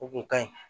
O kun ka ɲi